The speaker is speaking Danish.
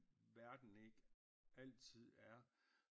Verden ikke altid er